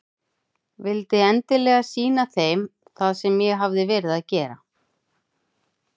Vildi endilega sýna þeim það sem ég hafði verið að gera.